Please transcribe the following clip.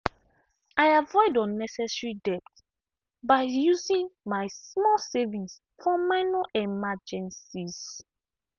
i avoid unnecessary debt by using my small savings for minor emergencies.